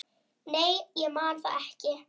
Nei, ég man það ekki.